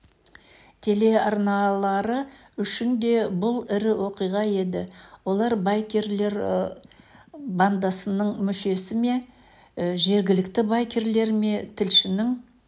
телеарналары үшін де бұл ірі оқиға еді олар байкерлербандасының мүшесі ме жергілікті байкерлер ме тілшінің